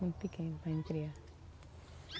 Muito pequeno para a gente criar.